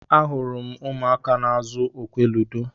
Ahụrụ m ụmụaka n'azụ okwe ludo.